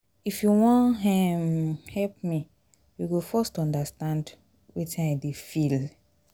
if you wan um help me you go first understand wetin i dey feel.